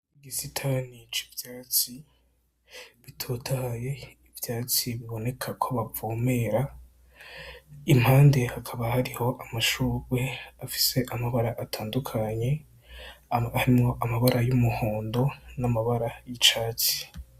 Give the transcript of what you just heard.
Igisitani c'ivyatsi bitotahaye, ivyatsi biboneka ko bavomera impande hakaba hariho amashurwe afise amabara atandukanye harimwo amabara y'umuhondo n'amabara y'icatsi.